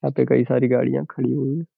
यहां पे कई सारी गाड़ियां खड़ी हुई है।